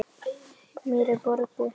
Mér er borgið.